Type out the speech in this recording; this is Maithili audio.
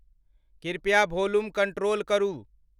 कृपया भोलुम कन्ट्रोल करू